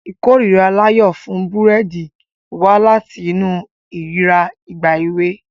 Ìkórìíra Layo fún búrẹ́dì wá láti inú ìrírí ìgbà èwe.